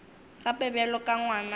gape bjalo ka ngwana wa